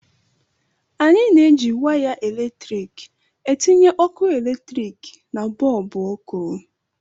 Anyị na-eji waya eletrik etinye ọkụ eletrik na bọlbụ ọkụ